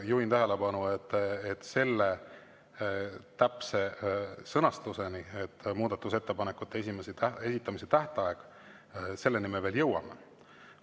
Juhin tähelepanu, et selle täpse sõnastuseni, muudatusettepanekute esitamise tähtajani me veel jõuame.